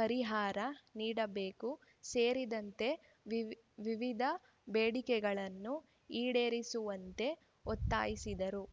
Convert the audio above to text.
ಪರಿಹಾರ ನೀಡಬೇಕು ಸೇರಿದಂತೆ ವಿವಿಧ ಬೇಡಿಕೆಗಳನ್ನು ಈಡೇರಿಸುವಂತೆ ಒತ್ತಾಯಿಸಿದರು